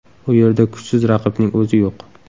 U yerda kuchsiz raqibning o‘zi yo‘q.